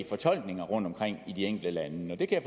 fortolkninger rundtomkring i de enkelte lande det kan